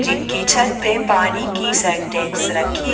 जिनके छत पे पानी की सिंटेक्स रखी--